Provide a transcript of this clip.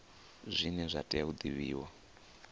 zwine zwa tea u divhiwa